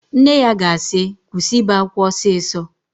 Nne ya ga-asị, kwụsị ibe ákwá ọsịsọ!